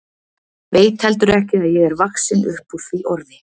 Veit heldur ekki að ég er vaxin upp úr því orði.